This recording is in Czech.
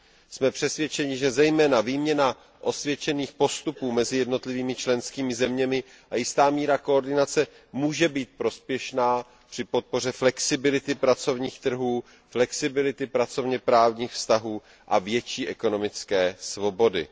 Jsme přesvědčeni, že zejména výměna osvědčených postupů mezi jednotlivými členskými zeměmi a jistá míra koordinace může být prospěšná při podpoře flexibility pracovních trhů, flexibility pracovněprávních vztahů a větší ekonomické svobody.